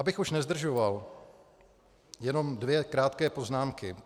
Abych už nezdržoval, jenom dvě krátké poznámky.